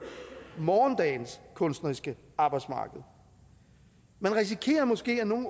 morgendagens kunstneriske arbejdsmarked man risikerer måske at nogle